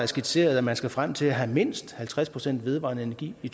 skitseret at man skal frem til at have mindst halvtreds procent vedvarende energi i